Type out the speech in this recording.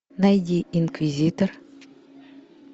найди инквизитор